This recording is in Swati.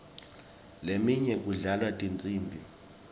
leminye kudlalwa tinsimbi